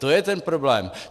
To je ten problém.